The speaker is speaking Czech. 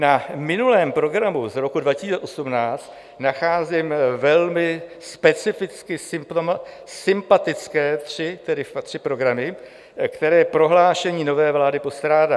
Na minulém programu z roku 2018 nacházím velmi specificky sympatické tři programy, které prohlášení nové vlády postrádá.